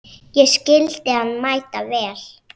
Ég skildi hann mæta vel.